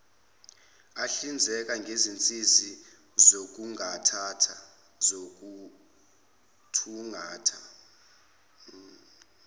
ahlinzeka ngezinsiza zokuthungatha